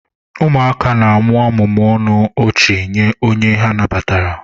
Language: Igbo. Ụmụaka na-amụmụ ọnụ ọchị nye onye ha nabatara.